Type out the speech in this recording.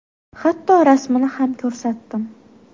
Hatto rasmini ham ko‘rsatdim.